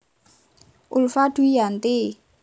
Ulfa Dwiyanti